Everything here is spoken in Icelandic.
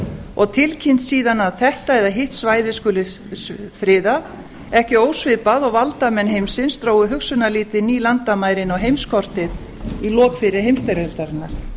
og tilkynnt síðan að þetta eða hitt svæði skuli friðað ekki ósvipað og valdamenn heimsins drógu hugsunarlítið ný landamæri inn á heimskortið í lok fyrri heimsstyrjaldarinnar